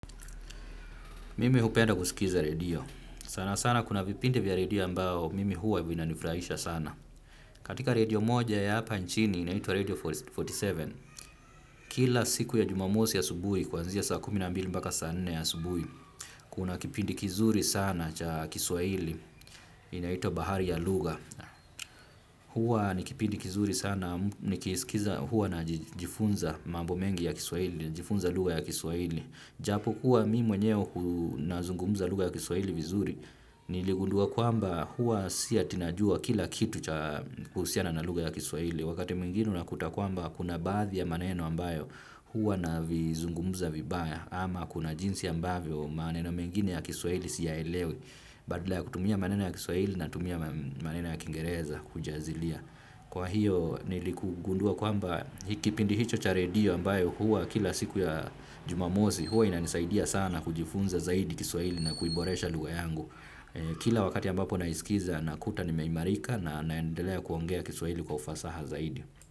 Mimi hupenda kusikiza redio. Sana sana kuna vipindi vya redio ambao mimi huwa vinanifurahisha sana. Katika redio moja ya hapa nchini inaitwa redio arobaini na saba. Kila siku ya jumamosi asubuhi kuanzia saa kumi na mbili mpaka saa nne ya asubuhi. Kuna kipindi kizuri sana cha kiswahili inaitwa bahari ya lugha. Huwa ni kipindi kizuri sana, nikisikiza huwa najifunza mambo mengi ya kiswahili, najifunza lugha ya kiswahili. Japo kuwa mi mwenyewe nazungumuza lugha ya kiswaili vizuri, niligundua kwamba huwa si ati najua kila kitu cha kuhusiana na lugha ya kiswahili. Wakati mwingine unakuta kwamba kuna baadhii ya maneno ambayo huwa navizungumuza vibaya ama kuna jinsi ambavyo maneno mengine ya kiswaili siya elewi. Badala ya kutumia maneno ya kiswahili natumia maneno ya kiingereza kujazilia. Kwa hiyo nilikugundua kwamba kipindi hicho cha redio ambayo huwa kila siku ya jumamosi huwa ina nisaidia sana kujifunza zaidi kiswahili na kuiboresha lugha yangu. Kila wakati ambapo na isikiza nakuta nimeimarika na naendelea kuongea kiswahili kwa ufasaha zaidi.